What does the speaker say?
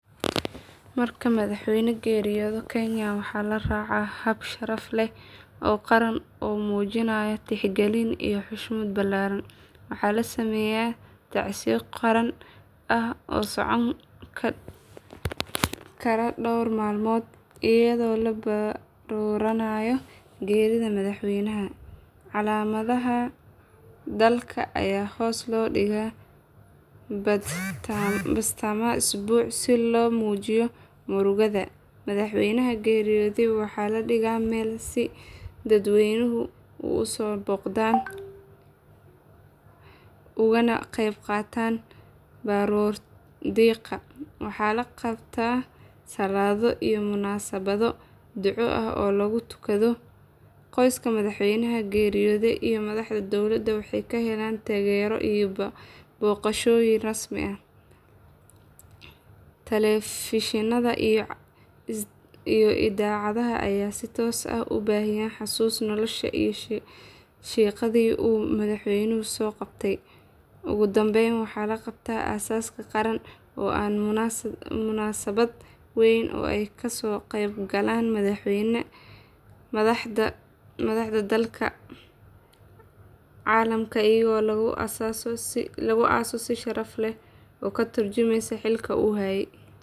Marka madaxweyne geeriyoodo kenya waxaa la raacaa hab sharaf leh oo qaran oo muujinaya tixgelin iyo xushmad ballaaran. Waxaa la sameeyaa tacsiyo qaran ah oo socon kara dhowr maalmood iyadoo la barooranayo geerida madaxweynaha. Calamada dalka ayaa hoos loo dhigaa badhtamaha usbuuca si loo muujiyo murugada. Madaxweynaha geeriyooday waxaa la dhigaa meel si dadweynuhu u soo booqdaan ugana qeyb qaataan baroordiiqda. Waxaa la qabtaa salaado iyo munaasabado duco ah oo lagu tukado. Qoyska madaxweynaha geeriyooday iyo madaxda dowladda waxay ka helaan taageero iyo booqashooyin rasmi ah. Telefishinnada iyo idaacadaha ayaa si toos ah u baahiya xusuusta nolosha iyo shaqadii uu madaxweynuhu soo qabtay. Ugu dambeyn waxaa la qabtaa aaska qaran oo ah munaasabad weyn oo ay ka soo qeybgalaan madax ka kala socota dalalka caalamka iyadoo lagu aaso si sharaf leh oo ka tarjumaya xilka uu hayay.